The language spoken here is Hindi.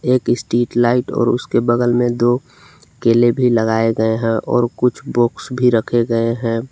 एक स्ट्रीट लाइट और उसके बगल में दो केले भी लगाए गए हैं और कुछ बॉक्स भी रखे गए हैं।